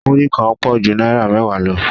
Múrí kan pọ̀ ju náírà mẹ́wàá lọ